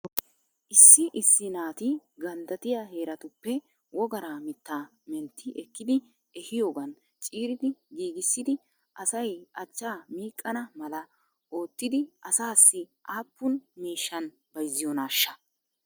Issi issi naati ganddattiyaa heeratuppe wogaraa mittaa mentti ekkidi ehiyoogan ciiridi giigissidi asay achchaa miiqana mala oottidi asaasi aappun miishan bayzziyoonaashsha?